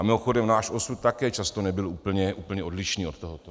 A mimochodem, náš osud také často nebyl úplně odlišný od tohoto.